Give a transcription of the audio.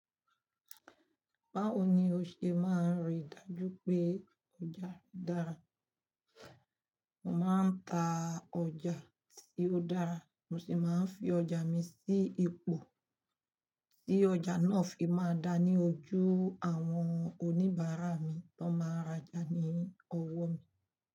Báwo ni o ṣe máa rí i dájú pé ọjà dára? Mo máa ń ta ọjà tí ó dára, mo sì máa ń fi ọjà mi sí ipò tí ọjà náà fi máa dára ní ojú àwọn oníbàárà mi tó máa ràjà ní ọwọ́ mi.